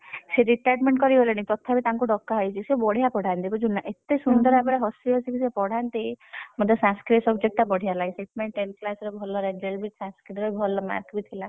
ସିଏ retirement କରିଗଲେଣି, ତଥାପି ତାକଣୁ ଡାକ ହେଇଛି, ସିଏ ବଢିଆ ପଢାନ୍ତି ବୁଝିଲୁ ନା? ଏତେ ସୁନ୍ଦର ଭାବରେ ହସି ହସି କି ସିଏ ପଢାନ୍ତି, ମତେ Sanskrit subject ବଢିଆ ଲାଗେ ସେଇଥିପାଇଁ tenth class ରେ ଭଲ result ବି Sanskrit ରେ ଭଲ mark ବି ଥିଲା।